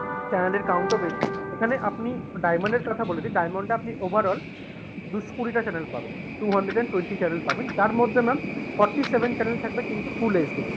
channel এর count ও বেশি, এখানে আপনি diamond এর কথা বলে দিই diamond এ আপনি overall দুশো কুড়িটা channel পাবেন two hundred and twenty channel পাবেন তার মধ্যে ma'am forty-seven channel থাকবে কিন্তু full HD তে।